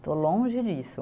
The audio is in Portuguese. Estou longe disso.